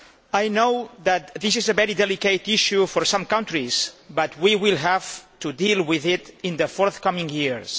I know that this is a very delicate issue for some countries, but we will have to deal with it in the coming years.